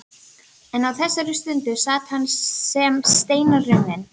En á þessari stundu sat hann sem steinrunninn.